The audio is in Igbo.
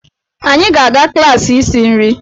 Anyị ga-aga klaasị isi nri.